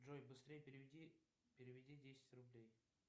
джой быстрей переведи переведи десять рублей